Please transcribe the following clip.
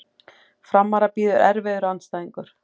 Framara bíður erfiður andstæðingur